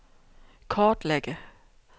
kortlægge